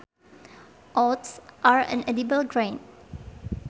Oats are an edible grain